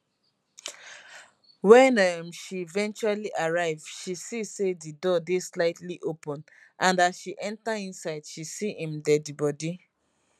wen um she eventually arrive she see say di door dey slightly open and as she enta inside she see im deadibody